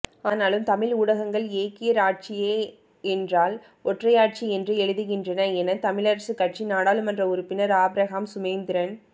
ஆனாலும் தமிழ் ஊடகங்கள் ஏக்கிய இராட்சிய என்றால் ஒற்றையாட்சி என்றே எழுதுகின்றன என தமிழரசுகட்சி நாடாளுமன்ற உறுப்பினர் ஆபிரகாம் சுமந்திரன்